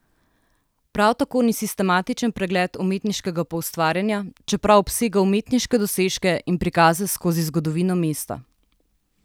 Prav tako ni sistematičen pregled umetniškega poustvarjanja, čeprav obsega umetniške dosežke in prikaze skozi zgodovino mesta.